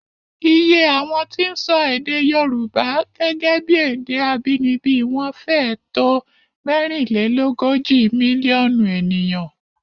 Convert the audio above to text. Iye àwọn tí ń sọ èdè Yorùbá gẹ́gẹ́ bí èdè abínibí wọn fẹ́ẹ̀ tó mẹ́rinlélógójì mílíọ̀nù ènìyàn